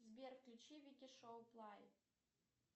сбер включи вики шоу плай